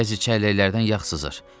Bəzi çəlləklərdən yağ sızır.